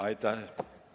Aitäh!